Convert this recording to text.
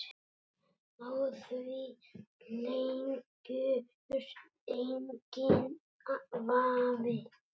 Á því leikur enginn vafi.